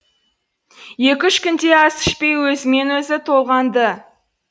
екі үш күндей ас ішпей өзімен өзі толғанды